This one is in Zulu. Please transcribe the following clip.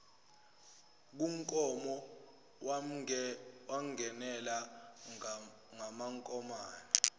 kunkomo wamngenela ngamankomane